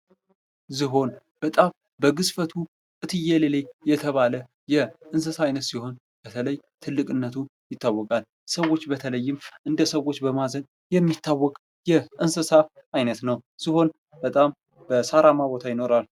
ዝሆን በግዝፈቱ እትየለሌ የተባለ የእንስሳት አይነት ሲሆን በተለይም ትልቅነቱ ይታወቃል ሰዎች በተለይም እንደ ሰዎች በማዘን የሚታወቅ የእንስሳ አይነት ነው። ዝሆን በጣም በሳራማ ቦታ ይኖራል።